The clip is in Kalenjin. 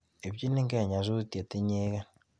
Iibchini gee nyasutyet inyegee.